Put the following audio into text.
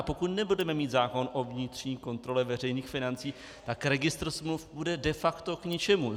A pokud nebudeme mít zákon o vnitřní kontrole veřejných financí, tak registr smluv bude de facto k ničemu.